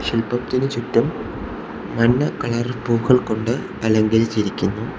ശിൽപ്പത്തിന് ചുറ്റും മഞ്ഞ കളർ പൂക്കൾ കൊണ്ട് അലങ്കരിച്ചിരിക്കുന്നു.